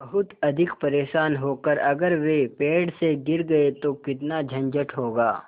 बहुत अधिक परेशान होकर अगर वे पेड़ से गिर गए तो कितना झंझट होगा